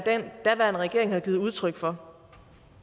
daværende regering havde givet udtryk for